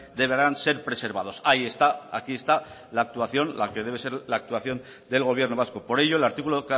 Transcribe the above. deberán ser preservados ahí está aquí está la actuación la que debe ser la actuación del gobierno vasco por ello el artículo